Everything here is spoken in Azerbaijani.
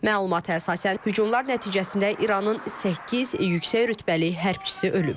Məlumata əsasən hücumlar nəticəsində İranın səkkiz yüksək rütbəli hərbçisi ölüb.